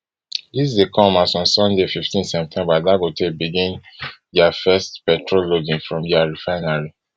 dis dey come as on sunday fifteen september dangote begin dia first petrol loading from dia refinery